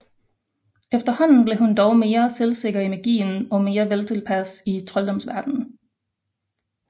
Efterhånden blev hun dog mere selvsikker i magien og mere veltilpas i trolddomsverdenen